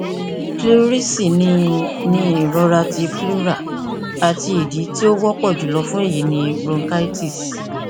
pleurisy ni ni irọra ti pleura ati idi ti o wọpọ julọ fun eyi ni bronchitis